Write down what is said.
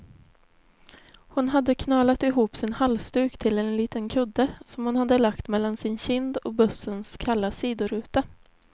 Hon hade knölat ihop sin halsduk till en liten kudde, som hon hade lagt mellan sin kind och bussens kalla sidoruta.